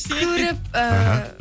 көріп эээ